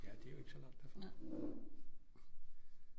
Ja det er jo ikke så langt derfra